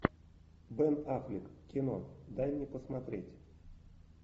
бен аффлек кино дай мне посмотреть